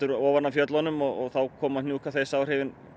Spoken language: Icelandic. ofan af fjöllunum og þá koma hnjúkaþeysáhrifin